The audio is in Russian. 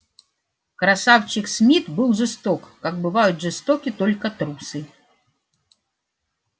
красавчик смит был жесток как бывают жестоки только трусы